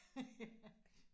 Ja